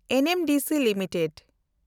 NMDC limited